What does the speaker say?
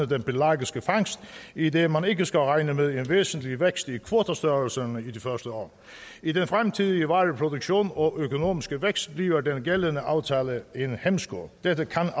den pelagiske fangst idet man ikke skal regne med en væsentlig vækst i kvotestørrelserne i de første år i den fremtidige vareproduktion og økonomiske vækst bliver den gældende aftale en hæmsko dette kan